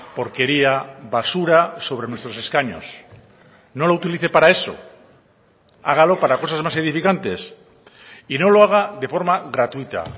porquería basura sobre nuestros escaños no lo utilice para eso hágalo para cosas más edificantes y no lo haga de forma gratuita